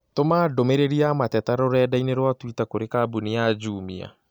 Tũma ndũmĩrĩri ya mateta rũrenda-inī rũa tũita kũrĩ kambuni ya jumia